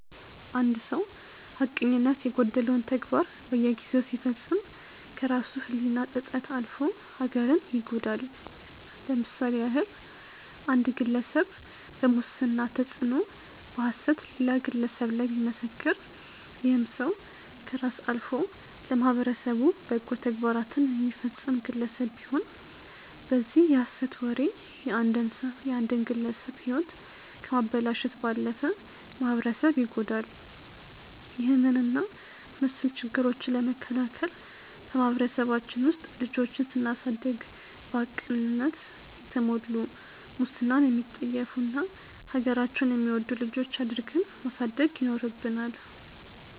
አንድ ሰው ሀቀኝነት የጎደለውን ተግባር በየጊዜው ሲፈጽም ከራሱ ህሊና ጸጸት አልፎ ሀገርን ይጎዳል። ለምሳሌ ያህል አንድ ግለሰብ በሙስና ተጽዕኖ በሐሰት ሌላ ግለሰብ ላይ ቢመሰክር ይህም ሰው ከራስ አልፎ ለማህበረሰቡ በጎ ተግባራትን የሚፈጸም ግለሰብ ቢሆን በዚህ የሐሰት ወሬ የአንድን ግለሰብ ህይወት ከማበላሸት ባለፈ ማህበረሰብ ይጎዳል። ይህንን እና መስል ችግሮችን ለመከላከል በማህበረሰባችን ውስጥ ልጆችን ስናሳደግ በሀቅነት የተሞሉ፣ ሙስናን የሚጠየፉ እና ሀገራቸውን የሚወዱ ልጆች አድርገን ማሳደግ ይኖርብናል።